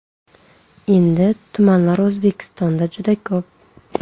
Endi, tumanlar O‘zbekistonda juda ko‘p.